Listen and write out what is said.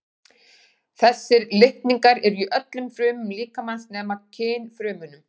Þessir litningar eru í öllum frumum líkamans nema kynfrumunum.